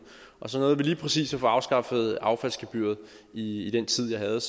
så nåede vi lige præcis at få afskaffet affaldsgebyret i den tid jeg havde